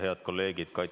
Head kolleegid!